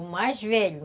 O mais velho.